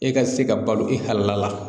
E ka se ka balo i hakilila la